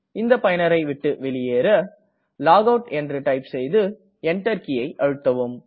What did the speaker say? இந்த பயனரை விட்டு வெளியேற லாகவுட் என்று டைப் செய்து Enter கீயை அழுத்தவும்